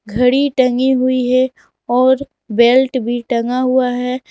घड़ी टंगी हुई है और बेल्ट भी टंगा हुआ है।